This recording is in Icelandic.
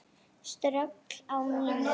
Ströggl á mínum?